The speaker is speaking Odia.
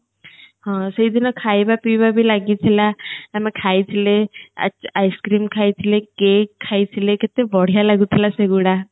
ହଁ ସେଇଦିନ ଖାଇବା ପିଇବା ବି ଲାଗିଥିଲା ଆମେ ଖାଇଥିଲେ ice cream ଖାଇଥିଲେ cake ଖାଇଥିଲେ କେତେ ବଢିଆ ଲାଗୁଥିଲା ସେଗୁଡା